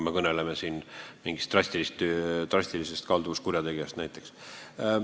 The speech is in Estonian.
Ma pean silmas näiteks drastilisi kalduvuskurjategijaid.